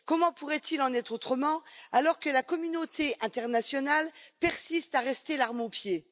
Comment pourrait il en être autrement alors que la communauté internationale persiste à rester l'arme au pied?